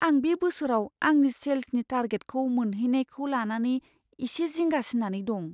आं बे बोसोराव आंनि सेल्सनि टारगेटखौ मोनहैनायखौ लानानै इसे जिंगासिनानै दं।